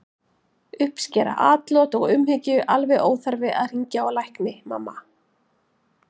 Uppskera atlot og umhyggju alveg óþarfi að hringja á lækni, mamma!